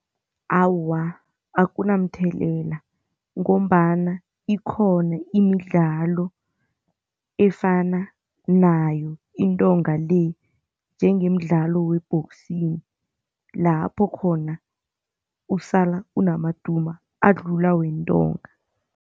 Awa, akunamthelela ngombana ikhona imidlalo efana nayo intonga le, njengemidlalo we-boxing lapho khona usala unamaduma adlula wentonga.